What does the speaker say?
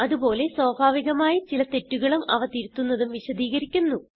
അത് പോലെ സ്വാഭാവികമായി ചില തെറ്റുകളും അവ തിരുത്തുന്നതും വിശദീകരിക്കുന്നു